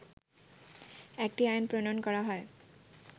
একটি আইন প্রণয়ন করা হয়